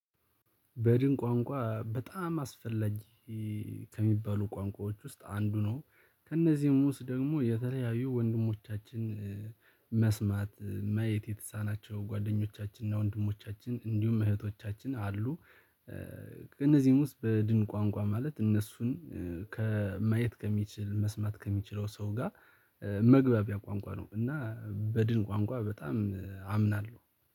በድን ቋንቋ በጣም አስፈላጊ ከሚባሉ ቋንቋዎች ውስጥ አንዱ ነው። ከእነዚህም ውስጥ ደግሞ የተለያዩ ወንድሞቻችን መስማት ማየት የተሳናቸው ጓደኞቻችን እና ወንድሞቻችን እንዲሁም እህቶቻችን አሉ። ከነዚህም ውስጥ በድን ቋንቋ ማለት እነሱን ከማየት ከሚችል መስማት ከሚችለው ሰው ጋር መግባቢያ ቋንቋ ነው። እና በድን ቋንቋ በጣም አምናለሁ